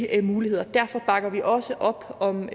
af mulighederne derfor bakker vi også op om